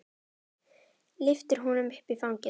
Lyftir honum upp í fangið.